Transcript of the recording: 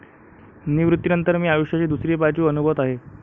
निवृत्तीनंतर मी आयुष्याची दुसरी बाजू अनुभवत आहे.